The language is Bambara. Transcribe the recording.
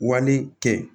Wale kɛ